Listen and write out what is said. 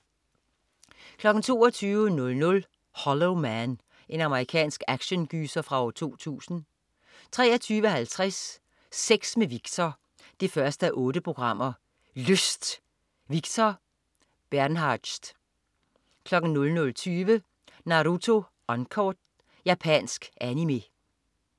22.00 Hollow Man. Amerikansk actiongyser fra 2000 23.50 Sex med Victor 1:8. Lyst! Victor Bernhardtz 00.20 Naruto Uncut. Japansk Animé